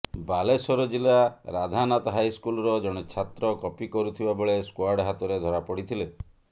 ବାଲେଶ୍ୱର ଜିଲ୍ଲା ରାଧାନାଥ ହାଇସ୍କୁଲର ଜଣେ ଛାତ୍ର କପି କରୁଥିବା ବେଳେ ସ୍କ୍ୱାଡ୍ ହାତରେ ଧରାପଡ଼ିଥିଲେ